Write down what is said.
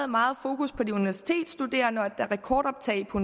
meget fokus på de universitetsstuderende og der er rekordoptag på